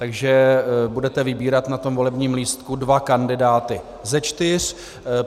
Takže budete vybírat na tom volebním lístku dva kandidáty ze čtyř.